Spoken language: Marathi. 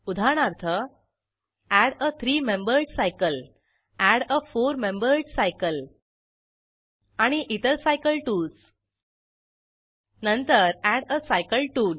उदाहरणार्थ एड आ थ्री मेंबर्ड सायकल एड आ फोर मेंबर्ड सायकल आणि इतर सायकल टूल्स नंतर एड आ सायकल टूल